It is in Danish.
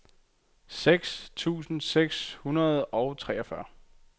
seks tusind seks hundrede og treogfyrre